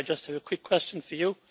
I just have a quick question for you.